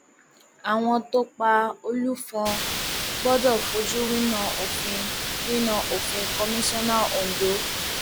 àwọn tó pa olùfọn gbọdọ fojú winá òfin winá òfin kọmíṣánná ondo